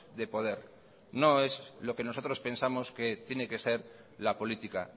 de poder no es lo que nosotros pensamos que tiene que ser la política